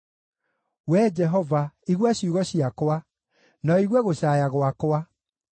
Wee Jehova, igua ciugo ciakwa, na ũigue gũcaaya gwakwa.